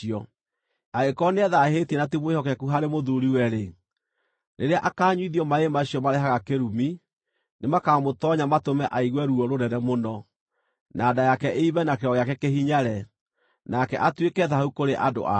Angĩkorwo nĩethaahĩtie na ti mwĩhokeku harĩ mũthuuriwe-rĩ, rĩrĩa akaanyuithio maaĩ macio marehaga kĩrumi, nĩ makaamũtoonya matũme aigue ruo rũnene mũno, na nda yake ĩimbe na kĩero gĩake kĩhinyare, nake atuĩke thaahu kũrĩ andũ ao.